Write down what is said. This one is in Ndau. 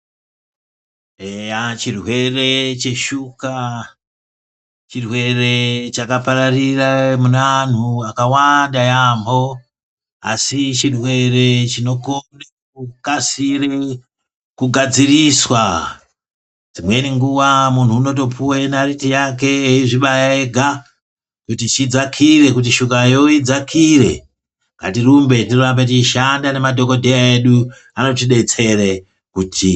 Eya chirwere cheshuka chirwere chakapararira munanhu akawanda yaamho asi chirwere chinokone kukasira kugadziriswa. Dzimweni nguwa muntu unotopuwa naiti yake eyizvibaya ega kuti chidzakire kuti shuka iyona idzakire. Ngatirumbe tirambe teishande nemadhokodheya edu anotidetseredza .